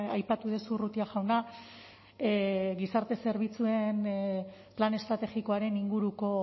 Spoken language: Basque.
aipatu duzu urrutia jauna gizarte zerbitzuen plan estrategikoaren inguruko